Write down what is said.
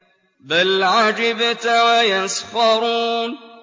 بَلْ عَجِبْتَ وَيَسْخَرُونَ